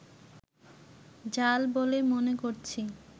জাল বলে মনে করছি